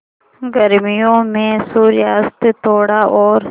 गर्मियों में सूर्यास्त थोड़ा और